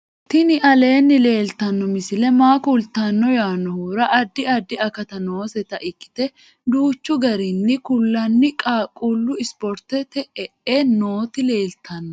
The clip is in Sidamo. tini aleenni leeltanno misi maa kultanno yaannohura addi addi akati nooseta ikkite duuchchu garinni kullanni qaaqullu isiportete e'e nooti leeltanno